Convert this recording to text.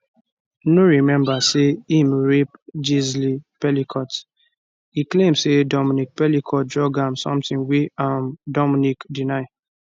no remember say im rape gisle pelicot e claim say dominique pelicot drug am something wey um dominique deny